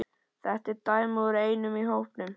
Þetta er dæmi úr einum hópnum